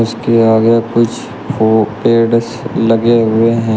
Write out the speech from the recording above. उसके आगे कुछ फू पेड़ लगे हुए हैं।